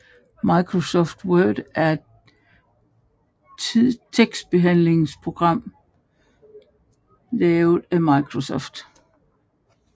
Microsoft Word er et tekstbehandlingsprogram lavet af Microsoft